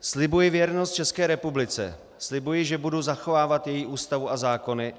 Slibuji věrnost České republice, slibuji, že budu zachovávat její Ústavu a zákony.